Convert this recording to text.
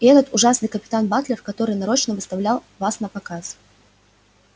и этот ужасный капитан батлер который нарочно выставлял вас напоказ